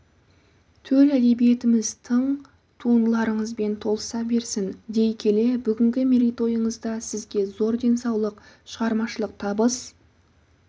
төл әдебиетіміз тың туындыларыңызбен толыса берсін дей келе бүгінгі мерейтойыңызда сізге зор денсаулық шығармашылық табыс